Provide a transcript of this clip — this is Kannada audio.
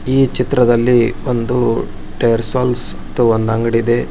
ಈ ಚಿತ್ರದಲ್ಲಿ ಒಂದು ಟೈಯರ್ ಸೋಲ್ಸ್ ಅಂತ ಒಂದು ಅಂಗಡಿ ಇದೆ.